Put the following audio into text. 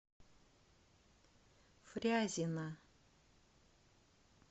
фрязино